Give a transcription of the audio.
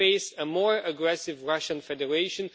They face a more aggressive Russian Federation.